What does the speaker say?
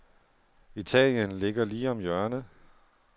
Italien ligger lige om hjørnet.